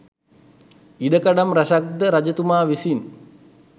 ඉඩකඩම් රැසක් ද රජතුමා විසින්